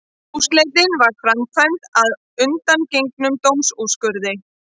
Húsleitin var framkvæmd að undangengnum dómsúrskurði